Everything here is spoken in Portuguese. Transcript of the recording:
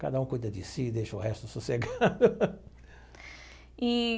Cada um cuida de si, deixa o resto sossegado. E.